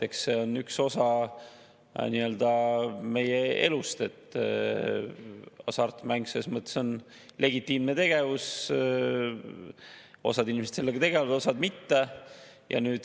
Eks see on üks osa meie elust, hasartmäng on legitiimne tegevus, osa inimesi sellega tegeleb, osa mitte.